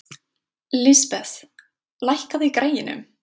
Lisbeth, lækkaðu í græjunum.